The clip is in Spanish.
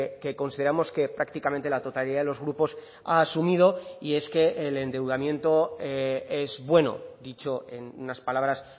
que consideramos que prácticamente la totalidad de los grupos ha asumido y es que el endeudamiento es bueno dicho en unas palabras